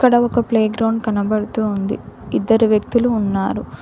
అక్కడ ఒక ప్లేగ్రౌండ్ కనబడుతోంది ఇద్దరు వ్యక్తులు ఉన్నారు.